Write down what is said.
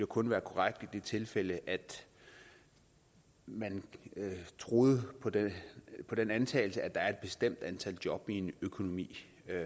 kun være korrekt i det tilfælde at man troede på den på den antagelse at der er et bestemt antal job i en økonomi